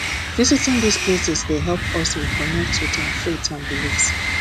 visiting these places dey help us reconnect with our faith and beliefs